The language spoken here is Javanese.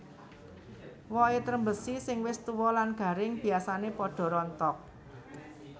Wohé trembesi sing wis tua lan garing biasané padha rontok